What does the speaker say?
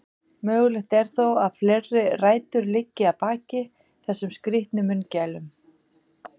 Mögulegt er þó að fleiri rætur liggi að baki þessum skrítnu munnmælum.